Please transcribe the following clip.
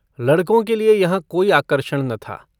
लड़कों के लिए यहाँ कोई आकर्षण न था।